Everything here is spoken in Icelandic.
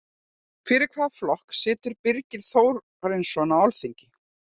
Fyrir hvaða flokk situr Birgir Þórarinsson á Alþingi?